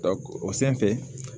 o sanfɛ